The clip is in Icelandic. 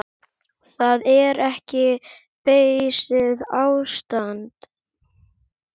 Það er ekki beysið ástand.